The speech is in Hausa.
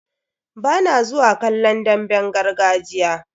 Bana zuwa kallon damben gargajiya.